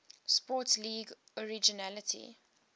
sports league originally